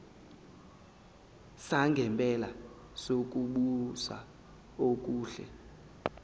sangempela sokubusa okuhle